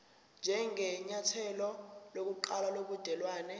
njengenyathelo lokuqala lobudelwane